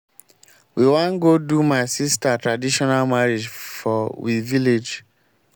we wan go do my sister traditional marriage for we village.